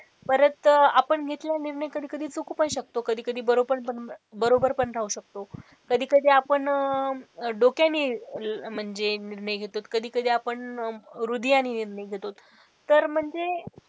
परत आपण घेतलेला निर्णय कधी कधी चुकू पण शकतो कधी कधी बरोबर पण बरोबर पण राहू शकतो. कधी कधी आपण डोक्याने म्हणजे निर्णय घेतो कधी कधी आपण हृदयाने निर्णय घेतो तर म्हणजे,